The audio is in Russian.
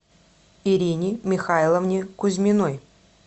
ирине михайловне кузьминой